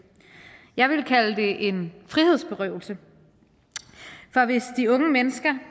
jeg ville kalde det en frihedsberøvelse for hvis de unge mennesker